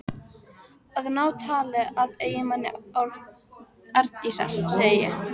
Að ná tali af eiginmanni Arndísar, segi ég.